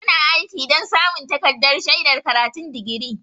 Suna aiki don samun takardar shaidar karatun digiri.